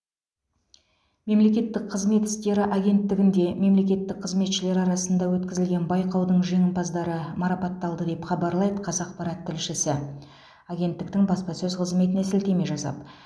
мемлекеттік қызмет істері агенттігінде мемлекеттік қызметшілер арасында өткізілген байқаудың жеңімпаздары марапатталды деп хабарлайды қазақпарат тілшісі агенттіктің баспасөз қызметіне сілтеме жасап